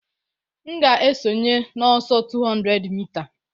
M ga-esonye n'ọsọ 200 mita